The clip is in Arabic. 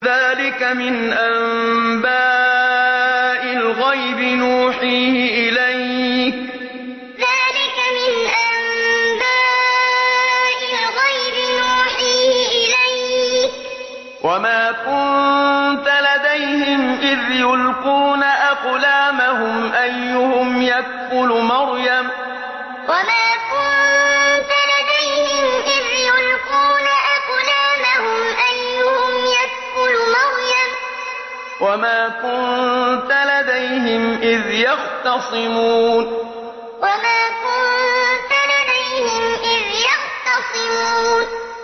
ذَٰلِكَ مِنْ أَنبَاءِ الْغَيْبِ نُوحِيهِ إِلَيْكَ ۚ وَمَا كُنتَ لَدَيْهِمْ إِذْ يُلْقُونَ أَقْلَامَهُمْ أَيُّهُمْ يَكْفُلُ مَرْيَمَ وَمَا كُنتَ لَدَيْهِمْ إِذْ يَخْتَصِمُونَ ذَٰلِكَ مِنْ أَنبَاءِ الْغَيْبِ نُوحِيهِ إِلَيْكَ ۚ وَمَا كُنتَ لَدَيْهِمْ إِذْ يُلْقُونَ أَقْلَامَهُمْ أَيُّهُمْ يَكْفُلُ مَرْيَمَ وَمَا كُنتَ لَدَيْهِمْ إِذْ يَخْتَصِمُونَ